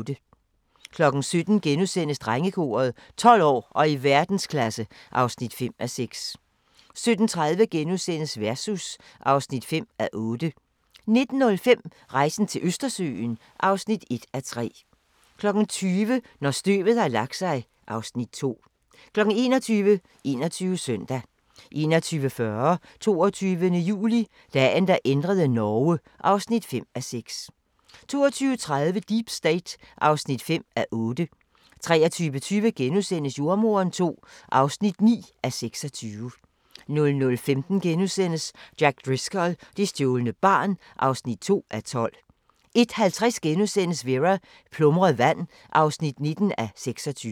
17:00: Drengekoret – 12 år og i verdensklasse (5:6)* 17:30: Versus (5:8)* 19:05: Rejsen til Østersøen (1:3) 20:00: Når støvet har lagt sig (Afs. 2) 21:00: 21 Søndag 21:40: 22. juli – Dagen, der ændrede Norge (5:6) 22:30: Deep State (5:8) 23:20: Jordemoderen II (9:26)* 00:15: Jack Driscoll – det stjålne barn (2:12)* 01:50: Vera: Plumret vand (19:26)*